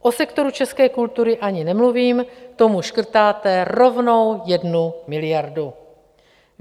O sektoru české kultury ani nemluvím, tomu škrtáte rovnou jednu miliardu.